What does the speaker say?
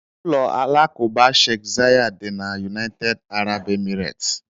Ụlọ alakụba Sheikh Zayed dị na United Arab Emirates.